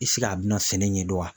I a bina sɛnɛ ɲɛdɔn wa?